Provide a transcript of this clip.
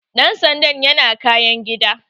Dan sandan yana kayan gida.